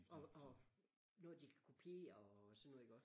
Og og noget de kan kopiere og sådan noget ikke også?